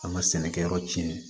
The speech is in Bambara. An ka sɛnɛkɛyɔrɔ cɛn